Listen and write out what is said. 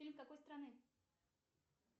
фильм какой страны